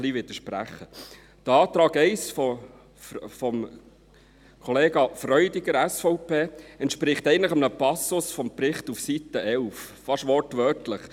Der Antrag 1 von Kollege Freudiger, SVP, entspricht eigentlich einem Passus des Berichts auf Seite 11 fast wortwörtlich.